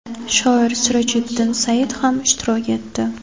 shoir Sirojiddin Sayyid ham ishtirok etdi.